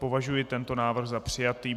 Považuji tento návrh za přijatý.